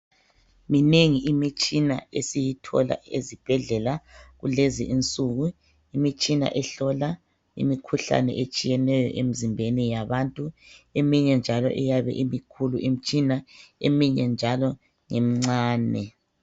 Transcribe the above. Minengi imitshina esiyithola ezibhedlela kulezi insuku. Imitshina ehlola imikhuhlane etshiyeneyo emizimbeni yabantu. Eminye njalo iyabe imikhulu eminye njalo imncane.